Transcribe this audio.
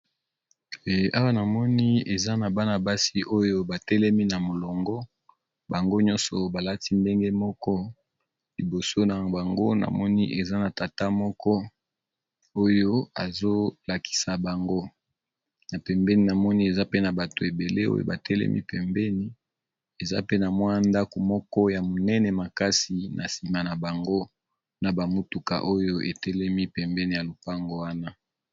Awa namoni eza na bana-basi oyo batelemi na molongo bango nyonso balati ndenge moko. Liboso na bango namoni eza na tata moko oyo azolakisa bango na pembeni namoni eza pe na bato ebele oyo batelemi pembeni eza pe na mwa ndako moko ya monene makasi na nsima na bango na bamotuka oyo etelemi pembeni ya lopango wana